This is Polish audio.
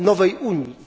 nowej Unii.